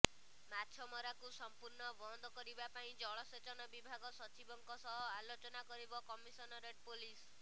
ମାଛମରାକୁ ସମ୍ପୂର୍ଣ୍ଣ ବନ୍ଦ କରିବା ପାଇଁ ଜଳସେଚନ ବିଭାଗ ସଚିବଙ୍କ ସହ ଆଲୋଚନା କରିବ କମିଶନରେଟ ପୋଲିସ